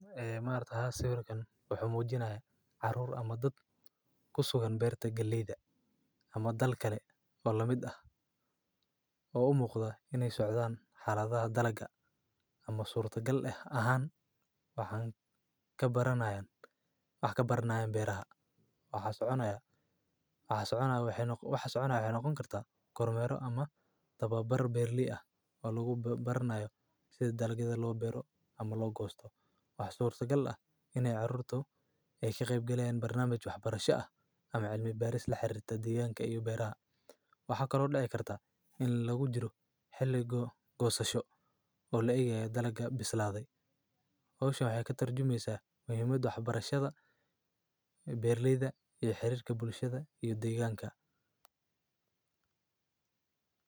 Ha. Ee maar ta ha si barakan wuxu muujinahay caruur ama dad ku sugan beerta geliida ama dal kale oo la mid ah: oo u muuqda iney socdaan xaladaha dalaga ama suuroto gal ah ahaan ahan ka baranaan ah ka barnaayan beeraha, waxa soconaya, waxa soconaaya, waxa soconaaya inoo kooni kartaa 100ro ama dababar beerli ah oo laguu barnaayo sidii dalagada loo biiro ama loo goosto. Wax suurtagal ah in ay caruurtu ey kheyibgeliyaan barnaamij waxbarasha ah ama cilmi baaris la xirirta deegaanka iyo beeraha. Waxaa kaloo dhici kartaa in lagu jiro xilligo goosasho oo la igayay dalaga bislaaday. Oosha waxee ka tarjumaysa muhiimada waxbarashada, beerleyda iyo xiriirka bulshada iyo deegaanka.